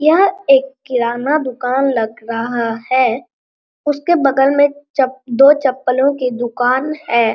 यह एक किराना दुकान लग रहा है उसके बगल में चप दो चप्पलो के दुकान है।